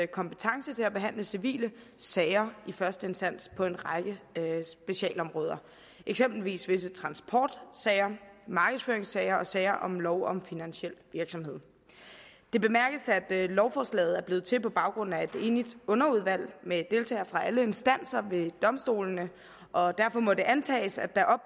kompetence til at behandle civile sager i første instans på en række sagsområder eksempelvis visse transportsager markedsføringssager og sager om lov om finansiel virksomhed det bemærkes at lovforslaget er blevet til på baggrund af et enigt underudvalg med deltagere fra alle instanser ved domstolene og derfor må det antages at der er